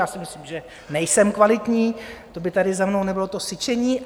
Já si myslím, že nejsem kvalitní, to by tady za mnou nebylo to syčení.